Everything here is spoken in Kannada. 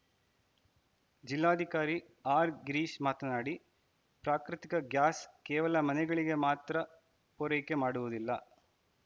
ಜಿಲ್ಲಾಧಿಕಾರಿ ಆರ್‌ಗಿರೀಶ್‌ ಮಾತನಾಡಿ ಪ್ರಾಕೃತಿಕ ಗ್ಯಾಸ್‌ ಕೇವಲ ಮನೆಗಳಿಗೆ ಮಾತ್ರ ಪೂರೈಕೆ ಮಾಡುವುದಿಲ್ಲ